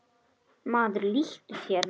Maður líttu þér nær!